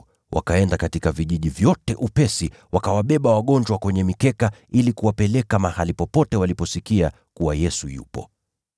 Wakaenda katika vijiji vyote upesi, wakawabeba wagonjwa kwenye mikeka ili kuwapeleka mahali popote waliposikia kuwa Yesu yupo.